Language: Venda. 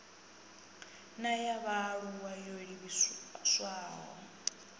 na ya vhaalulwa yo livhiswaho